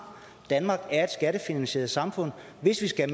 danmark er et skattefinansieret samfund og hvis vi skal